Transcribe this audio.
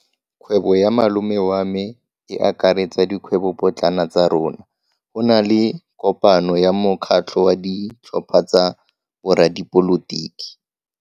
Kgwebo ya malome wa me e akaretsa dikgwebopotlana tsa rona. Go na le kopano ya mokgatlho wa ditlhopha tsa boradipolotiki.